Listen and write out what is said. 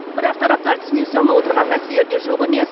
бірақ тараптар түсінісе алмай отырған мәселелер де жоқ емес